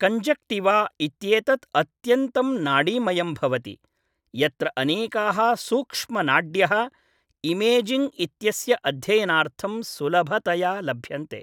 Conjunctiva इत्येतत् अत्यन्तं नाडीमयं भवति, यत्र अनेकाः सूक्ष्म नाड्यः इमेजिङ्ग् इत्यस्य अध्ययनार्थं सुलभतया लभ्यन्ते।